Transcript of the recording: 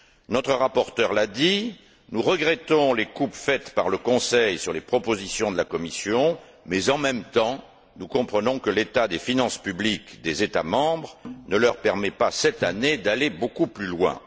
Notre rapporteur l'a dit, nous regrettons les coupes faites par le Conseil dans les propositions de la Commission, mais, en même temps, nous comprenons que l'état des finances publiques des États membres ne leur permette pas, cette année, d'aller beaucoup plus loin.